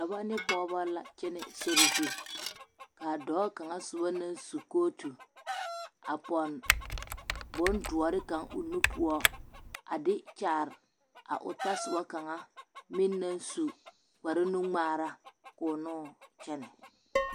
Dɔbɔ ne pɔgebɔ la kyɛnɛ sori zu k'a dɔɔ kaŋa soba naŋ su kootu a pɔnne bondoɔre kaŋ o nu poɔ a de kyaare a o tasoba kaŋa meŋ naŋ su kpare nu-ŋmaara k'o noo kyɛnɛ.